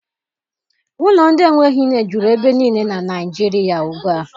Ụlọ ndị enweghị nne juru ebe niile na Naịjirịa ugbua.